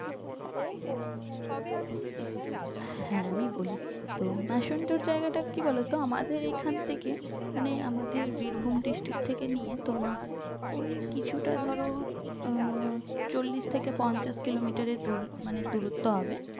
হ্যাঁ আমি বলি তো ম্যাসেন্জার জায়গাটা কি বলতো আমাদের এখন থেকে মানে আমাদের বীরভূম district থেকে নিয়ে তোমার ওই কিছুটা ধরো আহ চল্লিশ থেকে পঞ্চাশ কিলোমিটার এর দূর মানে দূরত্ব হবে